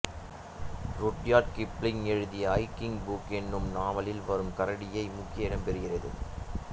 Rudyard Kipling எழுதிய Jungle Book என்னும் நாவலில் வரும் கரடியை முக்கிய இடம்பெறுகிறது